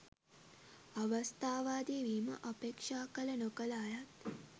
අවස්ථාවාදී වීම අපේක්ෂා කළ නොකළ අයත්